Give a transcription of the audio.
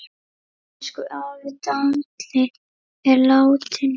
Elsku afi Dalli er látinn.